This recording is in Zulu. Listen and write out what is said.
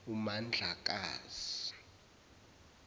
umandlakazi